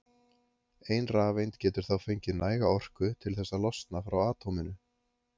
ein rafeind getur þá fengið næga orku til þess að losna frá atóminu